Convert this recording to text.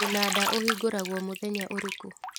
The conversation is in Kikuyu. Mũnanda ũhingũragwo mũthenya ũrĩkũ